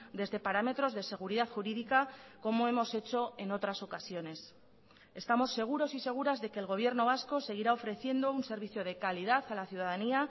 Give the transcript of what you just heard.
desde parámetros de seguridad jurídica como hemos hecho en otras ocasiones estamos seguros y seguras de que el gobierno vasco seguirá ofreciendo un servicio de calidad a la ciudadanía